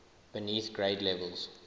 beneath grade levels